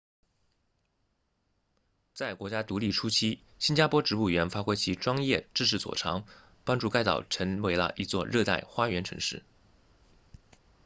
在国家独立初期新加坡植物园发挥其专业知识所长帮助该岛成为了一座热带花园城市